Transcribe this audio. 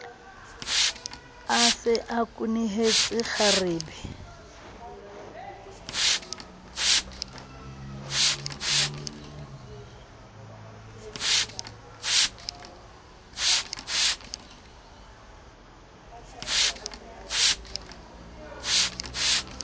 a se a kwenehetse kgarebe